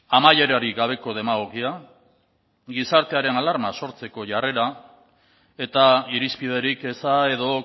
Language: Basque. amaierarik gabeko demagogia gizartearen alarma sortzeko jarrera eta irizpiderik eza edo